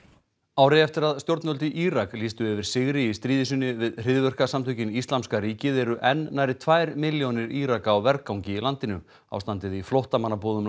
ári eftir að stjórnvöld í Írak lýstu yfir sigri í stríði sínu við hryðjuverkasamtökin Íslamska ríkið eru enn nærri tvær milljónir Íraka á vergangi í landinu ástandið í flóttamannabúðum